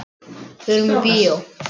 Förum í bíó.